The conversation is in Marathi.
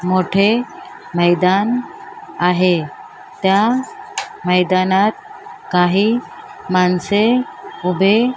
मोठे मैदान आहे त्या मैदानात काही माणसे उभे--